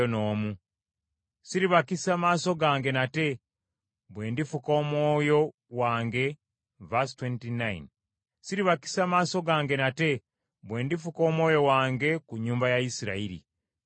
Siribakisa maaso gange nate, bwe ndifuka Omwoyo wange ku nnyumba ya Isirayiri, bw’ayogera Mukama Katonda.”